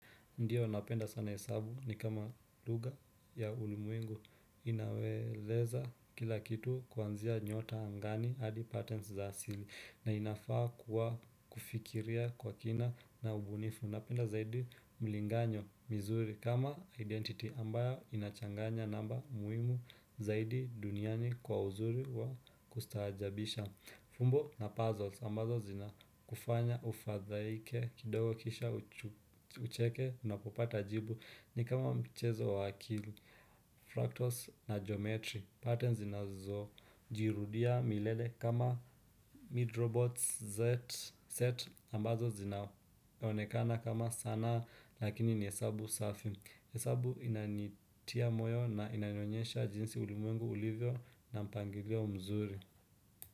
Ndiyo napenda sana hesabu ni kama lugha ya ulimwengu inawaeleza kila kitu kuanzia nyota angani hadi patensi za asili na inafaa kuwa kufikiria kwa kina na ubunifu. Napenda zaidi mlinganyo mizuri kama identity ambayo inachanganya namba muhimu zaidi duniani kwa uzuri wa kustaajabisha. Fumbo na puzzles ambazo zinakufanya ufadhaike kidogo kisha ucheke unapopata jibu ni kama mchezo wa akili, fractals na geometry, patterns zinazojirudia milele kama midrobots set ambazo zinaonekana kama sanaa lakini ni hesabu safi, hesabu inanitia moyo na inanionyonyesha jinsi ulimwengu ulivyo na mpangilio mzuri.